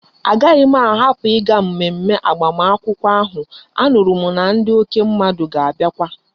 A gahi m a hapu iga mmemme agbam akwukwo ahu anuru m na ndi oke mmadu ga abiakwa